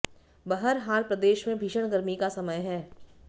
बहरहाल प्रदेश में भीषण गर्मी का समय है